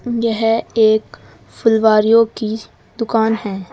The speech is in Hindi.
यह एक फुलवारियों की दुकान है।